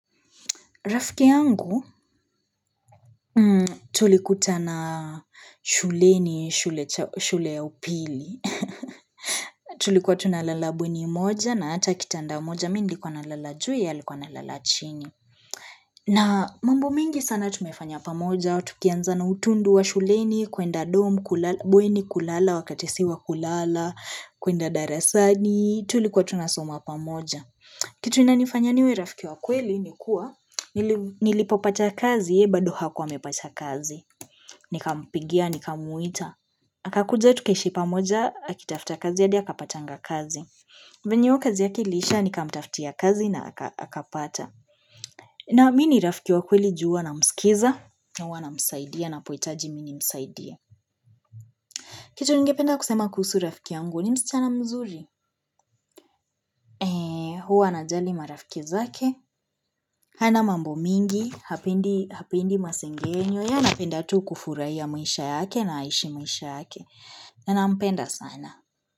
Rafiki yangu tulikuta na shule ni shule ya upili. Tulikuwa tunalala bweni moja na hata kitanda moja mimi nilkuwa nalala juu ya likwa nalala chini. Na mambo mingi sana tumefanya pamoja wa tukianza na utundu wa shuleni, kwenda dorm, bweni kulala, wakati si wa kulala, kwenda darasani, tulikuwa tunasoma pamoja. Kitu inanifanya niwe rafiki wakweli ni kuwa nilipopata kazi ye bado hakuwa mepata kazi. Nika mpigia, nikamwita. Akakuja tukaishi pamoja, akitafta kazi ya hadia akapatanga kazi. Venyo hiyo kazi yake ilisha, nika mtaftia kazi na akapata. Na mini rafiki wakweli jua huwa na msikiza. Na huwa na msaidia anapoitaji mimi msaidia. Kitu ningependa kusema kuhusu rafiki yangu, ni msichana mzuri? Eee, huwa ana jali marafiki zake. Hana mambo mingi, hapendi masengenyo, ya napenda tu kufurahia maisha yake na aishi maisha yake, na nampenda sana.